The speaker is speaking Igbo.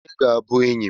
Onye ga-abụ enyị m?